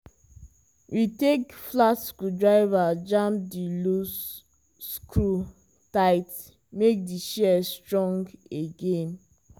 we take flat screwdriver jam the loose screw tight make the shears strong again.